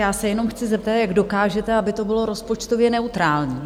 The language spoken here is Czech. Já se jenom chci zeptat - jak dokážete, aby to bylo rozpočtově neutrální?